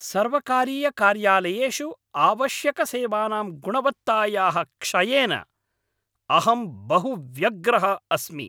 सर्वकारीयकार्यालयेषु आवश्यकसेवानां गुणवत्तायाः क्षयेन अहं बहु व्यग्रः अस्मि।